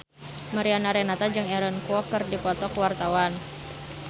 Mariana Renata jeung Aaron Kwok keur dipoto ku wartawan